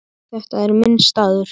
Þetta er minn staður.